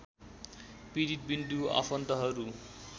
पीडित विन्दु आफन्तहरू